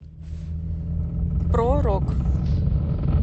про рок